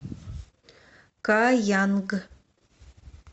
каянг